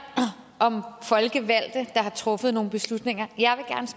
om folkevalgte der har truffet nogle beslutninger